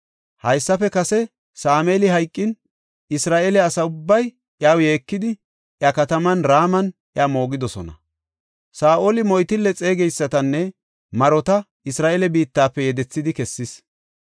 Haysafe kase Sameeli hayqin, Isra7eele asa ubbay iyaw yeekidi, iya kataman Raman iya moogidosona. Saa7oli moytille xeegeysatanne marota Isra7eele biittafe yedethidi kessis.